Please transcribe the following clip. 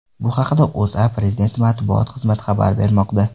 Bu haqda O‘zA va Prezident matbuot xizmati xabar bermoqda.